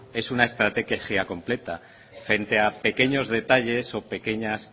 es una estrategia completa frente a pequeños detalles o pequeñas